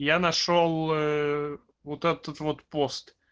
я нашёл вот этот вот пост